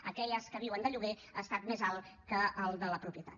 en aquelles que viuen de lloguer ha estat més alt que al de la propietat